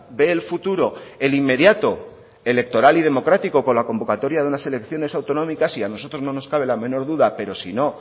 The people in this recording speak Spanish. ve el futuro el inmediato electoral y democrático con la convocatoria de unas elecciones autonómicas y a nosotros no nos cabe la menor duda pero si no